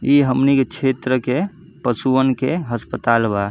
ई हमनी के छेत्र के पशुआन के अस्पताल बा।